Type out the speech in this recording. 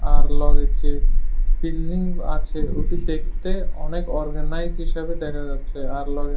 আর লগে যে বিল্ডিং আছে ওটি দেখতে অনেক অর্গানাইজ হিসেবে দেখা যাচ্ছে আর লগে ---